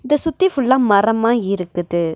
இத சுத்தி ஃபுல்லா மரமா இருக்குது.